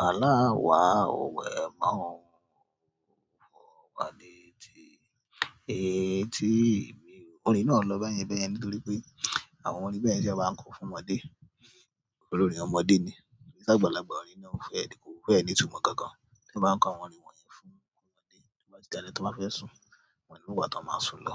A. A lá wa ò wẹ̀ mọ́ o. Ó fọ̀ wá létí. Etí mi ò. Orin yìí náà lọ báyẹn báyẹn nítorí pé àwọn orin báyẹn lèèyàn má ń kọ fún ọmọdé. Torí orin ọmọdé ni. Sá'gbàlagbà, orin náà ò fẹ́, kò fẹ́ẹ̀ ní ìtumọ̀ kankan. Ti wọ́n bá ń kọ àwọn orin wọ̀nyí fún ọmọdé, tó bá ti dalẹ́, ẹni tó bá fẹ́ sùn, wọn ò ń í mọ ìgbà tí wọ́n máa sùn lọ.